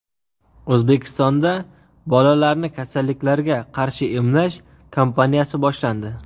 O‘zbekistonda bolalarni kasalliklarga qarshi emlash kampaniyasi boshlandi.